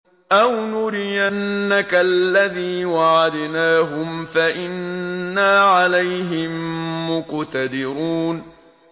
أَوْ نُرِيَنَّكَ الَّذِي وَعَدْنَاهُمْ فَإِنَّا عَلَيْهِم مُّقْتَدِرُونَ